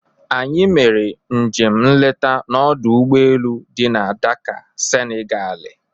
Anyị mere njem nleta n'ọdụ ụgboelu dị na Dakaa, Senigalị.